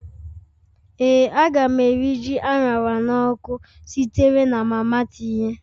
Ee, a ga m eri ji a ṅara n'ọkụ sitere na mama tinye